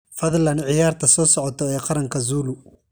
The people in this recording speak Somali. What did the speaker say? fadlan ciyaarta soo socota ee qaranka zulu